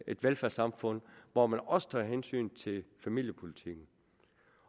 et velfærdssamfund hvor man også tager hensyn til familiepolitikken